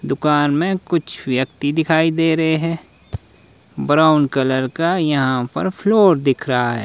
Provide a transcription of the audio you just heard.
दुकान में कुछ व्यक्ति दिखाई दे रहे हैं ब्राउन कलर का यहां पर फ्लोर दिख रहा है।